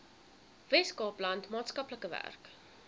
weskaapland maatskaplike werk